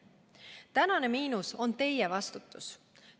Tänane miinus on teie vastutus.